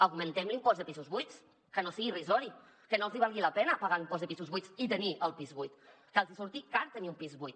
augmentem l’impost de pisos buits que no sigui irrisori que no els hi valgui la pena pagar l’impost de pisos buits i tenir el pis buit que els hi surti car tenir un pis buit